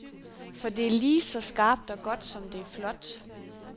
For det er ligeså skarpt og godt, som det er flot.